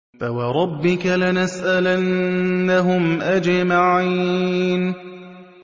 فَوَرَبِّكَ لَنَسْأَلَنَّهُمْ أَجْمَعِينَ